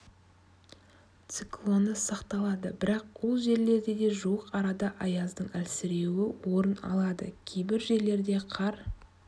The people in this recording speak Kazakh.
циклоны сақталады бірақ ол жерлерде де жуық арада аяздың әлсіреуі орын алады кейбір жерлерде қар